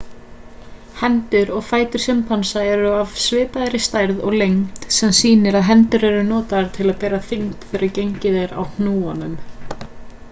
hendur og fætur simpansa eru af svipaðri stærð og lengd sem sýnir að hendur eru notaðar til að bera þyngd þegar gengið er á hnúunum